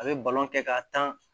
A bɛ balon kɛ k'a tan